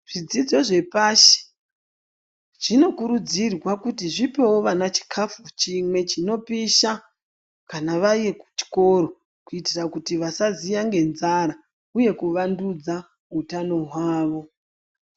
Zvidzidzo zvepashi zvinokurudzirwa kuti zvipewo vana chikafu chimwe chinopisha kana vari kuchikoro kuitira kuti vasaziya ngenzara uye kuvandudza utano hwavo.